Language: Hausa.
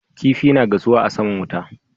Kifa na gasuwa a saman wuta